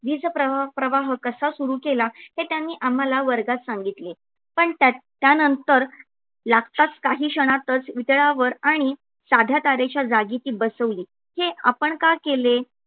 वीज प्रवाह कसा सुरू केला हे त्यांनी आम्हाला वर्गात सांगितले, पण त्यानंतर लागताच काही क्षणातच वितळावर आणि साध्या तारेच्या जागी ती बसवली. हे आपण का केले